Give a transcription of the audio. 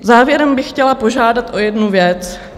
Závěrem bych chtěla požádat o jednu věc.